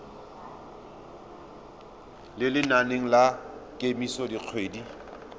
mo lenaneng la kemiso dikgwedi